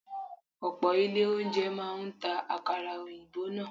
Ọ̀pọ̀ ilé oúnjẹ máa ń ta àkàrà òyìnbó náà.